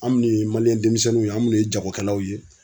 Anw minnu ye denmisɛnninw ye an minnu ye jagokɛlaw ye.